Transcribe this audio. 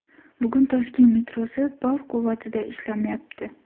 Bugun Toshkent metrosi bor quvvatida ishlamayapti.